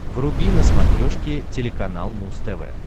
вруби на смотрешке телеканал муз тв